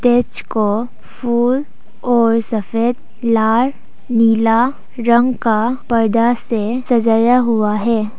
Stage को फूल और सफेद लाल नीला रंग का पर्दा से सजाया हुआ है।